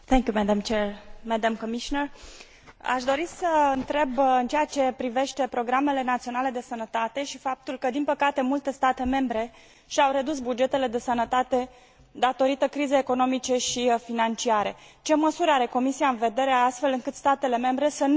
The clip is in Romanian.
Aș dori să întreb în ceea ce privește programele naționale de sănătate și faptul că, din păcate, multe state membre și au redus bugetele de sănătate ca urmare a crizei economice și financiare, ce măsuri are Comisia în vedere, astfel încât statele membre să nu reducă bugetele pentru sănătate?